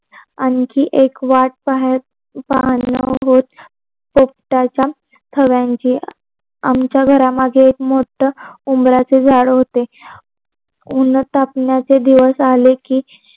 आणखी एक वाट पाहण पाहण होत. पोपटांचा थव्यांची आमच्या घर मागे एक मोठ उमरच झाड होते. ऊनत तापण्याचे दिवस आले कि